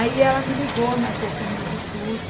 Aí ela me ligou, marcou comigo tudo.